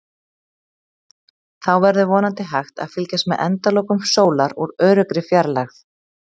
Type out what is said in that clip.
Þá verður vonandi hægt að fylgjast með endalokum sólar úr öruggri fjarlægð.